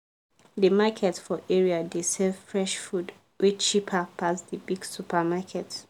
the market for area dey sell fresh food way cheaper pass the big supermarket